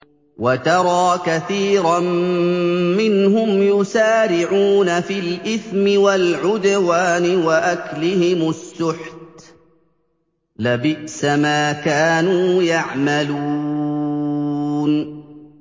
وَتَرَىٰ كَثِيرًا مِّنْهُمْ يُسَارِعُونَ فِي الْإِثْمِ وَالْعُدْوَانِ وَأَكْلِهِمُ السُّحْتَ ۚ لَبِئْسَ مَا كَانُوا يَعْمَلُونَ